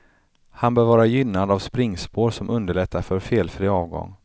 Han bör vara gynnad av springspår som underlättar för felfri avgång.